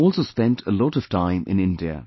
She also spent a lot of time in India